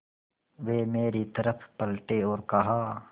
वे मेरी तरफ़ पलटे और कहा